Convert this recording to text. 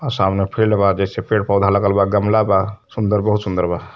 आ सामने फील्ड बा जईसे पेड़ पौधा लगल बा। गमला बा सुन्दर बहुत सुंदर बा।